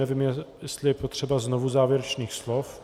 Nevím, jestli je potřeba znovu závěrečných slov.